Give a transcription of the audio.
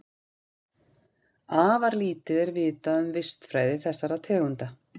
Afar lítið er vitað um vistfræði þessara tegunda.